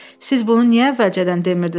Siz bunu niyə əvvəlcədən demirdiniz?